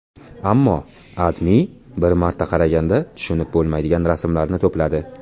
Ammo AdMe bir marta qaraganda tushunib bo‘lmaydigan rasmlarni to‘pladi.